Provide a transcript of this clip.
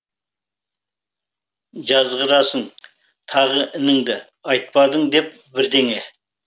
жазғырасың тағы ініңді айтпадың деп бірдеңе